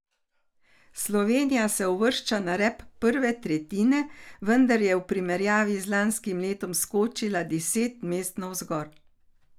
Slovenija se uvršča na rep prve tretjine, vendar je v primerjavi z lanskim letom skočila deset mest navzgor.